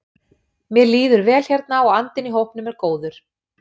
Mér líður vel hérna og andinn í hópnum er góður.